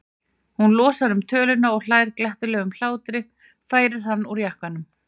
Hún losar um töluna og hlær glettnislegum hlátri, færir hann úr jakkanum.